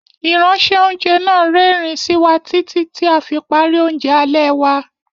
Ìránṣẹ́- oúnjẹ náà rẹ́rìn-ín sí wa títí tí a fi parí oúnjẹ alẹ́ wa.